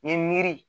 Nin miiri